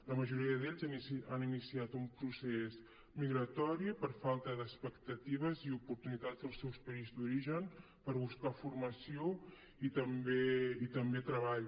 la majoria d’ells han iniciat un procés migratori per falta d’expectatives i oportunitats als seus països d’origen per buscar formació i també treball